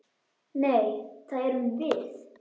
Nei, það erum við.